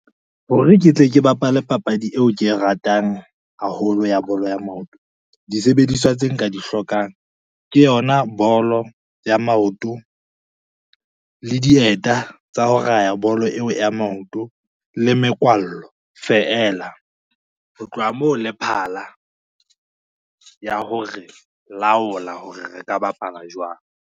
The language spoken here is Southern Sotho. Hore ke tle ke bapale papadi eo ke e ratang haholo ya bolo ya maoto, disebediswa tse nka di hlokang ke yona bolo ya maoto, le dieta tsa ho raya bolo eo ya maoto, le mekwallo feela, ho tloha moo le phala ya hore laola hore re ka bapala jwang.